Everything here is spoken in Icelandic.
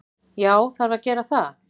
Já, það þarf að gera það.